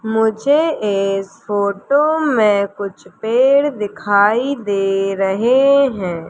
मुझे इस फोटो में कुछ पेड़ दिखाई दे रहे हैं।